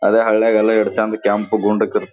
ಅದೆ ಹಳೆ ಚಂದ್ ಕೆಂಪ ಗುಂಡಕ್ ಇರತ್ವ್ --